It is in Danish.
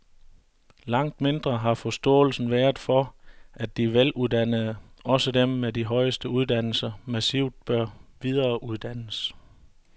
Langt mindre har forståelsen været for, at de veluddannede, også dem med de højeste uddannelser, massivt bør videreuddannes.